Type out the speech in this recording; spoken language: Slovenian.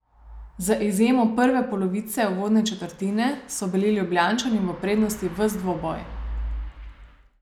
Z izjemo prve polovice uvodne četrtine so bili Ljubljančani v prednosti ves dvoboj.